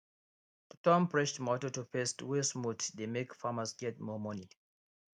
to turn fresh tomato to paste wey smooth dey make farmers get more money